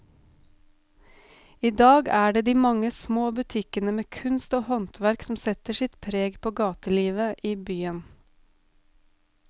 I dag er det de mange små butikkene med kunst og håndverk som setter sitt preg på gatelivet i byen.